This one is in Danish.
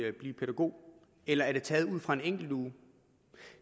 at blive pædagog eller er det taget ud fra en enkelt uge